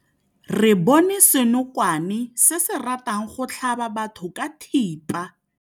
Re bone senokwane se se ratang go tlhaba batho ka thipa.